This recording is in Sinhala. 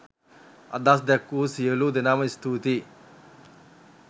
අදහස් දැක් වූ සියලු දෙනාම ස්තුතියි.